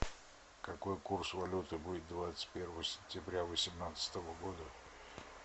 какой курс валюты будет двадцать первого сентября восемнадцатого года